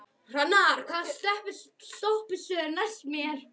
Hrannar, hvaða stoppistöð er næst mér?